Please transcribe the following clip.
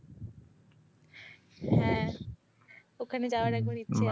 হ্যাঁ, ওখানে যাওয়ার একবার ইচ্ছে আছে।